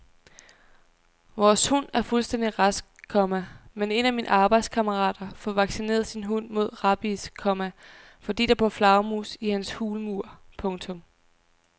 Vores hund er fuldstændig rask, komma men en af mine arbejdskammerater får vaccineret sin hund mod rabies, komma fordi der bor flagermus i hans hulmur. punktum